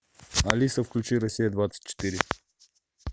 алиса включи россия двадцать четыре